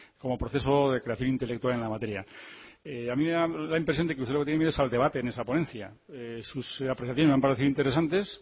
como proceso de creación intelectual en la materia a mí me da la impresión de que usted lo que tiene miedo es al debate en esa ponencia sus apreciaciones me han parecido interesantes